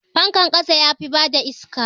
Fankan ƙasa yafi bada iska.